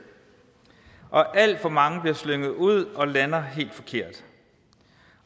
og alt for mange bliver slynget ud og lander helt forkert